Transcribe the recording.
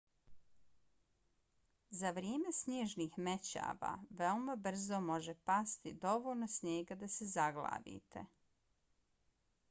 za vrijeme snježnih mećava veoma brzo može pasti dovoljno snijega da se zaglavite